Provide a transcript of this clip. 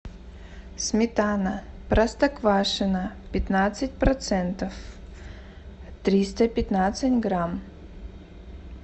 сметана простоквашино пятнадцать процентов триста пятнадцать грамм